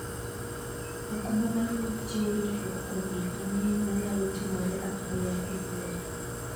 okumba mar wuoth chiwo ritruok kuom gik mang'eny manyalo timore apoya e wuoth.